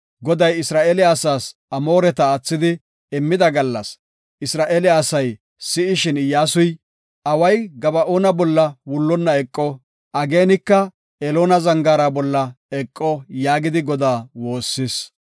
Goday Isra7eele asaas Amooreta, aathidi immida gallas, Isra7eele asay si7ishin, Iyyasuy, “Away Gaba7oona bolla wullonna eqo. Ageenayka Eloona zangaara bolla eqo” yaagidi Godaa woossis.